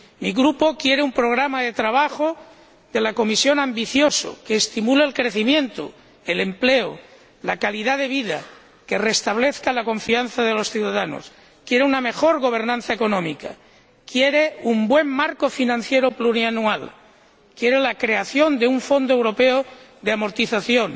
Mi Grupo quiere un programa de trabajo de la Comisión ambicioso, que estimule el crecimiento, el empleo, la calidad de vida, que restablezca la confianza de los ciudadanos, quiere una mejor gobernanza económica, quiere un buen marco financiero plurianual, quiere la creación de un fondo europeo de amortización,